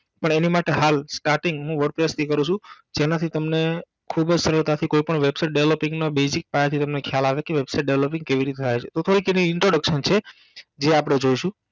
પણ એની માટે હાલ starting હું wordpress થી કરું છું જેનાથી તમને ખૂબજ સરળતાથી કોઈ પણ Website Developing નો basic પાયાથી તમને ખ્યાલ આવે કે Website Developing કેવી રીતે થાય છે અથવા એક એને introduction છે જે આપણે જોઇસુ